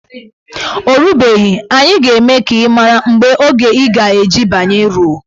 O rubeghi, anyị ga-eme ka ị mara mgbe oge ị ga-eji banye ruo.